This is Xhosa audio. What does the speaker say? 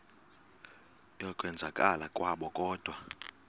yokwenzakala kwabo kodwa